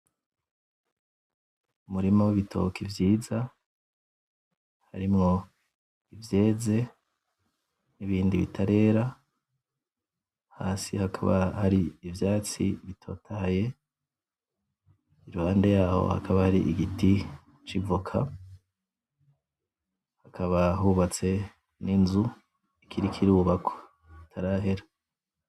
Umurima w'ibitoki vyiza harimwo ivyeze n'ibindi bitarera hasi hakaba hari ivyatsi bitotahaye iruhande yaho hakaba hari igiti c'ivoka hakaba hubatse n'inzu ikiriko irubakwa itarahera.